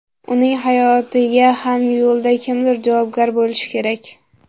Uning hayotiga ham yo‘lda kimdir javobgar bo‘lishi kerak.